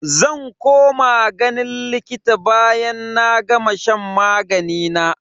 Zan koma ganin likita bayan na gama shan magani na.